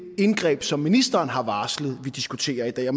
indgreb som ministeren har varslet vi diskuterer i dag